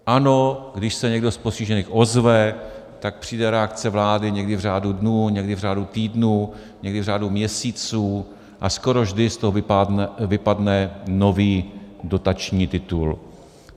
Ano, když se někdo z postižených ozve, tak přijde reakce vlády, někdy v řádu dnů, někdy v řádu týdnů, někdy v řádu měsíců, a skoro vždy z toho vypadne nový dotační titul.